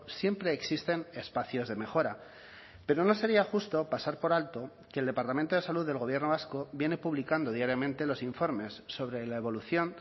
siempre existen espacios de mejora pero no sería justo pasar por alto que el departamento de salud del gobierno vasco viene publicando diariamente los informes sobre la evolución